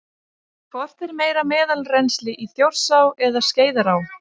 Hvort er meira meðalrennsli í Þjórsá eða Skeiðará?